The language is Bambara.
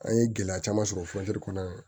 An ye gɛlɛya caman sɔrɔ kɔnɔ